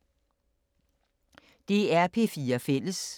DR P4 Fælles